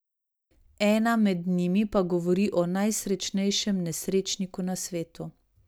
Ena med njimi pa govori o najsrečnejšem nesrečniku na svetu.